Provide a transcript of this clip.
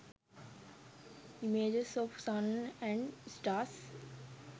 images of sun and stars